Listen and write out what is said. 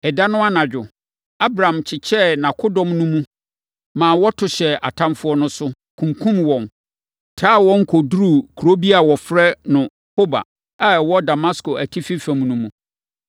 Ɛda no anadwo, Abram kyekyɛɛ nʼakodɔm no mu, ma wɔto hyɛɛ atamfoɔ no so, kunkumm wɔn, taa wɔn kɔduruu kuro bi a wɔfrɛ no Hoba a ɛwɔ Damasko atifi fam no mu.